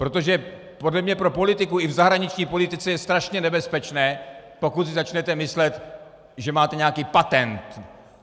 Protože podle mě pro politiku i v zahraniční politice je strašně nebezpečné, pokud si začnete myslet, že máte nějaký patent.